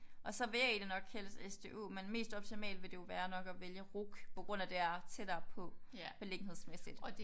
Og så vil jeg egentlig nok helst SDU men mest optimalt vil det jo være nok at vælge RUC på grund af det er tættere på beliggenhedsmæssigt